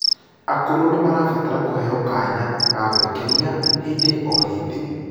akũrũ nimarabatara kuheo kanya ga gwikenia hĩndĩ o hĩndĩ